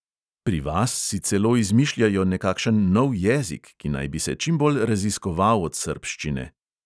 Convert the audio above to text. Pri vas si celo izmišljajo nekakšen nov jezik, ki naj bi se čimbolj raziskoval od srbščine.